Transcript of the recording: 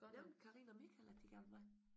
Nævnte Karina og Michael at de gerne vil med?